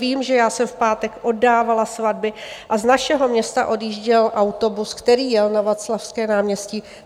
Vím, že já jsem v pátek oddávala svatby a z našeho města odjížděl autobus, který jel na Václavské náměstí.